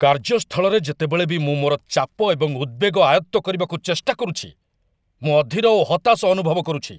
କାର୍ଯ୍ୟସ୍ଥଳରେ ଯେତେବେଳେ ବି ମୁଁ ମୋର ଚାପ ଏବଂ ଉଦ୍‌ବେଗ ଆୟତ୍ତ କରିବାକୁ ଚେଷ୍ଟା କରୁଛି, ମୁଁ ଅଧୀର ଓ ହତାଶ ଅନୁଭବ କରୁଛି।